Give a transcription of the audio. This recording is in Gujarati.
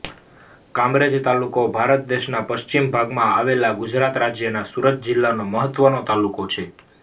કામરેજ તાલુકો ભારત દેશના પશ્ચિમ ભાગમાં આવેલા ગુજરાત રાજ્યના સુરત જિલ્લાનો મહત્વનો તાલુકો છે